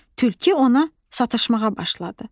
Tülkü ona satışmağa başladı.